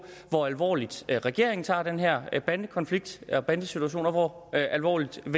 hvor alvorligt regeringen tager den her bandekonflikt og bandesituation og hvor alvorligt i